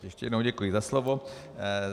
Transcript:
Ještě jednou děkuji za slovo.